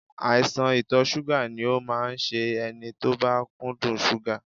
Àìsàn ìtọ̀ ṣúgà ni ó máa ń ṣe ẹni tó bá kúndùn ṣúgà